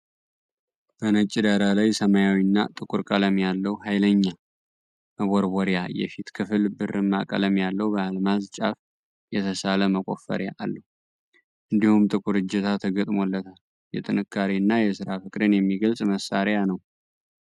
በነጭ ዳራ ላይ፣ ሰማያዊ እና ጥቁር ቀለም ያለው ኃይለኛ መቦርቦሪያ የፊት ክፍል ብርማ ቀለም ያለው በአልማዝ ጫፍ የተሳለ መቆፈሪያ አለው፤ እንዲሁም ጥቁር እጀታ ተገጥሞለታል። የጥንካሬ እና የስራ ፍቅርን የሚገልጽ መሳሪያ ነው።